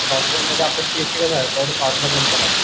software मध्ये आपलं तेवढं